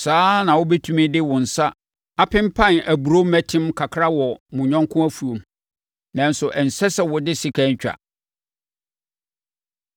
Saa ara na mobɛtumi de mo nsa apempan aburoo mmɛtem kakra wɔ mo yɔnko afuom, nanso ɛnsɛ sɛ mode sekan twa.